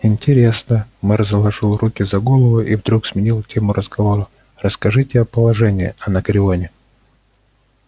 интересно мэр заложил руки за голову и вдруг сменил тему разговора расскажите о положении анакреоне